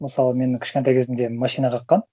мысалы мені кішкентай кезімде машина қаққан